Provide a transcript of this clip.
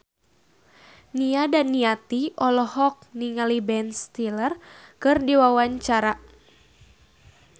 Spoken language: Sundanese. Nia Daniati olohok ningali Ben Stiller keur diwawancara